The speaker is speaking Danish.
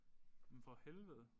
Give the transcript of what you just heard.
Jamen for helvede